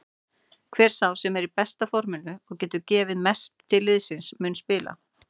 Hver sá sem er í besta forminu og getur gefið mest til liðsins mun spila.